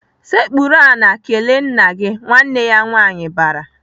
"Sekpuru ala kelee nna gị!" Nwanne ya nwaanyị bara.